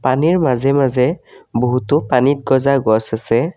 পানীৰ মাজে মাজে বহুতো পানীত গজা গছ আছে।